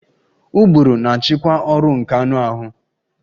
Ụbụrụ na-achịkwa ọrụ nke anụ ahụ